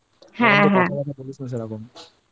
হ্যাঁ হ্যাঁ কথা ফথা বলিস না সেরকম